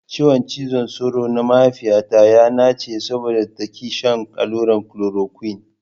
Ciwon cizon sauro na mahaifiyata ya nache saboda ta ki shan allurar kolorokuine.